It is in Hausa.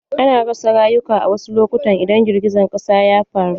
Ana rasa rayuka wasu lokutan idan girgijen ƙasa ya faru.